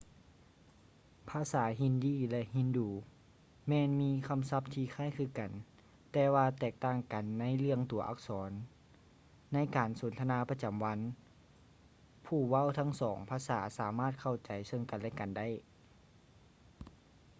ພາສາຮິນດີ hindi ແລະ ອູດູ urdu ແມ່ນມີຄຳສັບທີ່ຄ້າຍຄືກັນ ແຕ່ວ່າແຕກຕ່າງກັນໃນເລື່ອງຕົວອັກສອນ; ໃນການສົນທະນາປະຈຳວັນ ຜູ້ເວົ້າທັງສອງພາສາສາມາດເຂົ້າໃຈເຊິ່ງກັນ ແລະ ກັນໄດ້